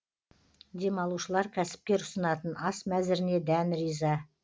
демалушылар кәсіпкер ұсынатын ас мәзіріне дән риза